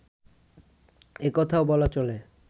একথাও বলা চলে